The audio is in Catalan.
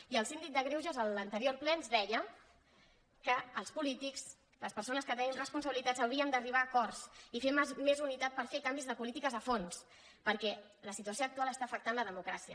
i el síndic de greuges a l’anterior ple ens deia que els polítics les persones que tenim responsabilitats hauríem d’arribar a acords i fer més unitat per fer canvis de polítiques a fons perquè la situació actual està afectant la democràcia